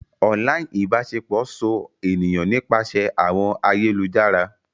Online ibaṣepọ so eniyan nipasẹ awọn ayelujara.